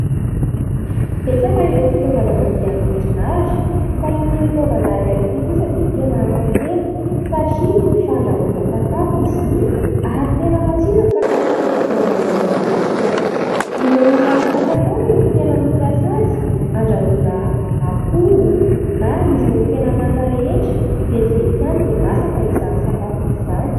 Betsaka ireo fitaovana mandeha amin'ny herin'aratra fa ity fitaovana iray ity kosa dia tena hafa kely satria fandrahoana sakafo izy ity ary tena matsiro ny sakafo izay andrahoana ao anatiny. Ireo olona manankatao no tena mampiasa azy : andrahoana akoho na ireo hena manta rehetra. Vetivety ihany dia masaka izany sakafo izany.